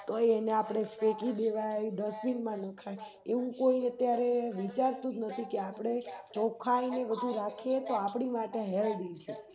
તોય એને આપણે ફેકી દેવાય Dustbin માં નખાય એવું કોય અત્યારે વિચારતુંજનથી કે આપણે ચોખ્ખાઈને બધું રાખીએતો આપની માટે Healthy છે